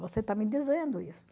Você está me dizendo isso.